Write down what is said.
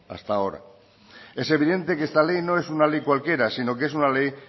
hasta ahora es evidente que esta ley no es una ley cualquiera sino que es una ley